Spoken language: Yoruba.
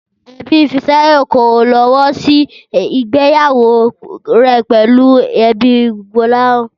Ẹbí Fisáyọ̀ kò lọ́wọ́ sí ìgbéyàwó rẹ̀ pẹ̀lú ẹbí Gbọ́láhàn